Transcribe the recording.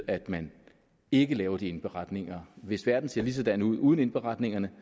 at man ikke lave de indberetninger hvis verden ser ligesådan ud uden indberetningerne